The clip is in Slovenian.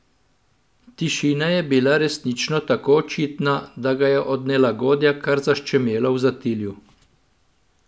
Tišina je bila resnično tako očitna, da ga je od nelagodja kar zaščemelo v zatilju.